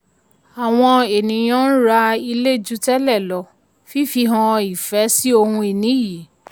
awon eniyan ń ra ilé ju tẹ́lẹ̀ lọ fifi hàn ìfẹ́ sí ohun-ini yìí.